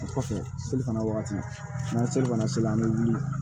O kɔfɛ selifana wagati ni selibana sera an bɛ wuli